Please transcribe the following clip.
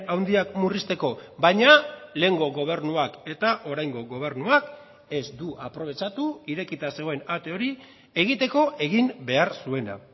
handiak murrizteko baina lehengo gobernuak eta oraingo gobernuak ez du aprobetxatu irekita zegoen ate hori egiteko egin behar zuena